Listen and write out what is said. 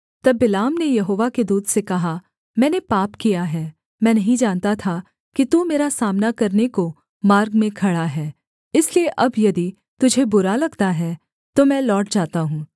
तब बिलाम ने यहोवा के दूत से कहा मैंने पाप किया है मैं नहीं जानता था कि तू मेरा सामना करने को मार्ग में खड़ा है इसलिए अब यदि तुझे बुरा लगता है तो मैं लौट जाता हूँ